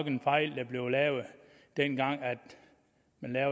en fejl dengang